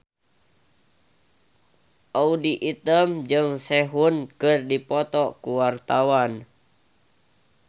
Audy Item jeung Sehun keur dipoto ku wartawan